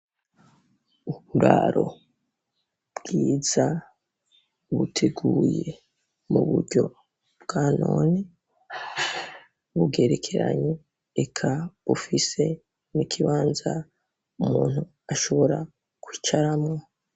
Uburaro bwiza buteguye muburyo bwa none, bugerekeranye eka bufise n'ikibanza umuntu ashobora kwicaramwo